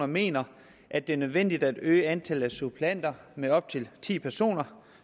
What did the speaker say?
mener at det er nødvendigt at øge antallet af suppleanter med op til ti personer